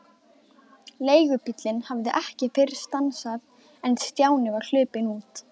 Leigubíllinn hafði ekki fyrr stansað en Stjáni var hlaupinn út.